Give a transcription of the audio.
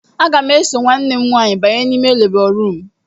Aga m eso nwanne m nwaanyị banye n'ime lebọ ruum.